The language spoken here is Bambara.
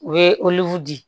U ye di